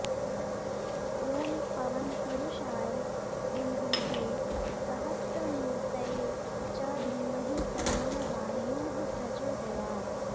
ॐ पवनपुरुषाय विद्महे सहस्रमूर्तये च धीमहि तन्नो वायुः प्रचोदयात्